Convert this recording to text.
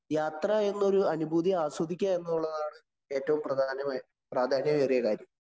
യാത്ര എന്നൊരു അനുഭൂതി ആസ്വദിക്കുക എന്നുള്ളതാണ് ഏറ്റവും പ്രധാനമായി പ്രാധാന്യമേറിയ കാരണം.